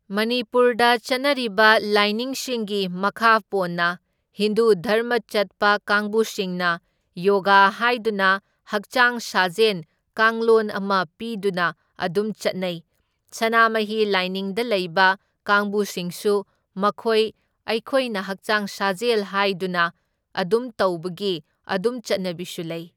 ꯃꯅꯤꯄꯨꯔꯗ ꯆꯠꯅꯔꯤꯕ ꯂꯥꯏꯅꯤꯡꯁꯤꯡꯒꯤ ꯃꯈꯥ ꯄꯣꯟꯅ ꯍꯤꯟꯗꯨ ꯙꯔꯃ ꯆꯠꯄ ꯀꯥꯡꯕꯨꯁꯤꯡꯅ ꯌꯣꯒꯥ ꯍꯥꯏꯗꯨꯅ ꯍꯛꯆꯥꯡ ꯁꯥꯖꯦꯟ ꯀꯥꯡꯂꯣꯟ ꯑꯃ ꯄꯤꯗꯨꯅ ꯑꯗꯨꯝ ꯆꯠꯅꯩ, ꯁꯅꯥꯃꯍꯤ ꯂꯥꯏꯅꯤꯡꯗ ꯂꯩꯕ ꯀꯥꯡꯕꯨꯁꯤꯡꯁꯨ ꯃꯈꯣꯏ ꯑꯩꯈꯣꯏꯅ ꯍꯛꯆꯥꯡ ꯁꯥꯖꯦꯜ ꯍꯥꯏꯗꯨꯅ ꯑꯗꯨꯝ ꯇꯧꯕꯒꯤ ꯑꯗꯨꯝ ꯆꯠꯅꯕꯤꯁꯨ ꯂꯩ꯫